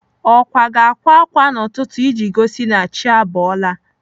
Ọkwa ga-akwa ákwá n'ụtụtụ iji gosi na chi abọọla.